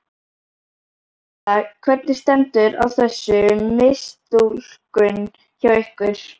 Erla: Hvernig stendur á þessu mistúlkun hjá ykkur?